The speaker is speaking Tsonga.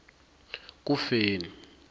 kufeni